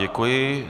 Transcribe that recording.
Děkuji.